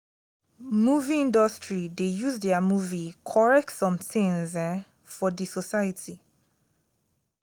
movie industry de use their movie correct somethings um for di society